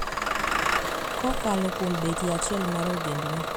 Kokalo kuom betie achiel mar ogendni